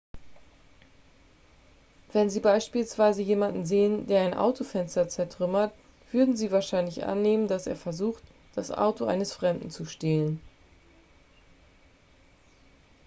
wenn sie beispielsweise jemanden sehen der ein autofenster zertrümmert würden sie wahrscheinlich annehmen dass er versucht das auto eines fremden zu stehlen